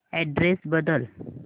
address बदल